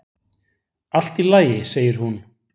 """Allt í lagi, segir hún."""